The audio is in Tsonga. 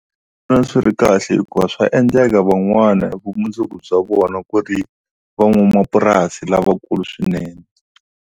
Ndzi vona swi ri kahle hikuva swa endleka van'wana vumundzuku bya vona ku ri van'wamapurasi lavakulu swinene.